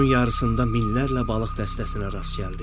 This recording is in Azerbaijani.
Yolun yarısında minlərlə balıq dəstəsinə rast gəldi.